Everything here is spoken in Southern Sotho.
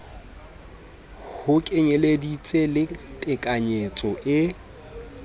ho kenyeleditse le tekanyetso e